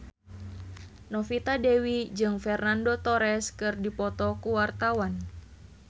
Novita Dewi jeung Fernando Torres keur dipoto ku wartawan